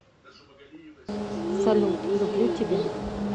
салют люблю тебя